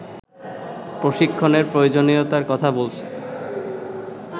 প্রশিক্ষণের প্রয়োজনীয়তার কথা বলছেন